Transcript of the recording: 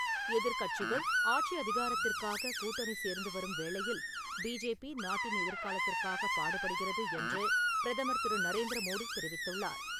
எதிர்கட்சிகள் ஆட்சி அதிகாரத்திற்காகக் கூட்டணி சேர்ந்து வரும் வேளையில், பிஜேபி நாட்டின் எதிர்காலத்திற்காக பாடுபடுகிறது என்று பிரதமர் திரு நரேந்திர மோடி தெரிவித்துள்ளார்.